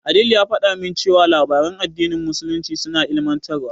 Adeel ya faɗa min cewa labaran addinin musulunci suna ilimantarwa.